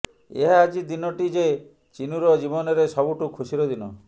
ଆହା ଆଜି ଦିନଟି ଯେ ଚିନୁର ଜୀବନରେ ସବୁଠୁ ଖୁସିର ଦିନ